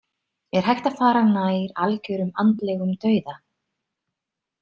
Er hægt að fara nær algjörum andlegum dauða?